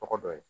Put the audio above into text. Tɔgɔ dɔ ye